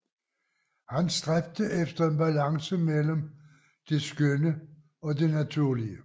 Han stræbte efter en balance mellem det skønne og det naturlige